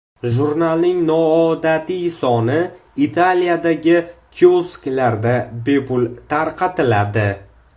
Jurnalning noodatiy soni Italiyadagi kiosklarda bepul tarqatiladi.